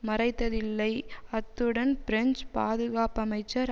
மறைத்ததில்லை அத்துடன் பிரெஞ்சு பாதுகாப்பமைச்சர்